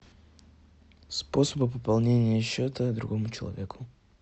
способы пополнения счета другому человеку